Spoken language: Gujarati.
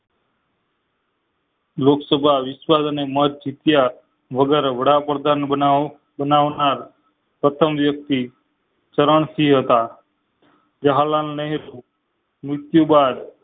લોકસભા વિસ્તાર અને મત ચુતીયા વગર વડાપ્રધાન પ્રથમ વ્યક્તિ ચરણ સિંહ હતા.